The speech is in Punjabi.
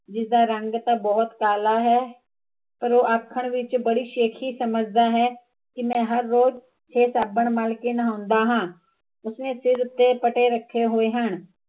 ਜਿਸਦਾ ਰੰਗ ਤਾਂ ਬਹੁਤ ਕਾਲਾ ਹੈ ਪਰ ਉਹ ਆਖਣ ਵਿੱਚ ਬੜੀ ਸ਼ੇਖੀ ਸਮਜਦਾ ਹੈ ਕਿ ਮੈਂ ਹਰ ਰੋਜ਼ ਇਹ ਸਾਬਣ ਮਲ ਕੇ ਨਹਾਉਂਦਾ ਹਾਂ ਉਸਨੇ ਸਿਰ ਤੇ ਪਟੇ ਰੱਖੇ ਹੋਏ ਹਨ